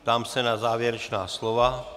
Ptám se na závěrečná slova.